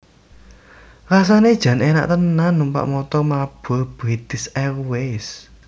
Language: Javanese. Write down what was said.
Rasane jan enak tenan numpak montor mabur British Airways